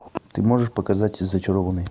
ты можешь показать зачарованные